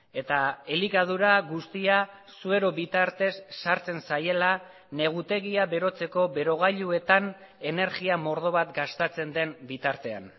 eta elikadura guztia suero bitartez sartzen zaiela negutegia berotzeko berogailuetan energia mordo bat gastatzen den bitartean